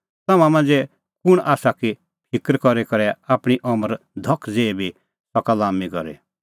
तम्हां मांझ़ै इहअ कुंण आसा कि फिकर करी करै आपणीं अमर धख ज़ेही बी सका लाम्मी करी